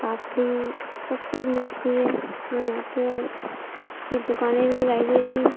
पापड़ी सब चीज मिलती है और यहाँ पे और कुछ फिर दुकानें भी दिखाई दे रही हैं।